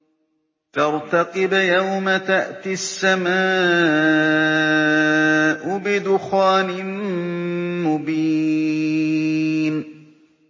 فَارْتَقِبْ يَوْمَ تَأْتِي السَّمَاءُ بِدُخَانٍ مُّبِينٍ